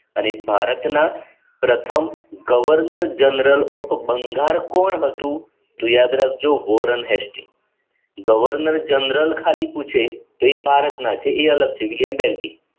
અને ભારતના પ્રથમ governor general of બંગાળ કોણ હતું તો યાદ રાખજો વોરન હૉસ્ટી governor general ખાલી પૂછે તો એ ભારત ના છે એ અલગથી બેલ્ટી